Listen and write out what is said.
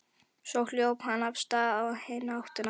Svo hljóp hann af stað í hina áttina.